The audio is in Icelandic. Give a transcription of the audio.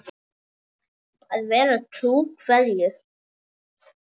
Að vera trú hverju?